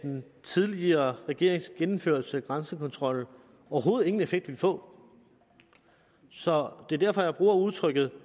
den tidligere regerings gennemførelse af grænsekontrollen overhovedet ingen effekt ville få så det er derfor jeg bruger udtrykket